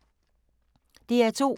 DR2